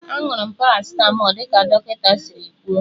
Aṅụrụ m paracịtamọlụ dị ka dọkịta siri kwuo.